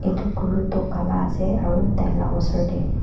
edu guru toh kala ase aro taila osor tae